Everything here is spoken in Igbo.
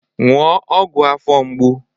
Ṅụọ ọgwụ afọ mgbu!